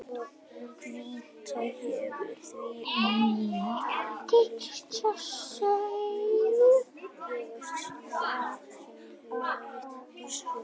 Hvítá hefur því átt tiltölulega auðvelt með að grafa sig inn í hraunið við Barnafoss.